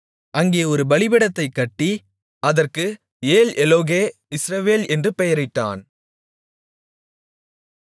அங்கே ஒரு பலிபீடத்தைக் கட்டி அதற்கு ஏல்எல்லோகே இஸ்ரவேல் என்று பெயரிட்டான்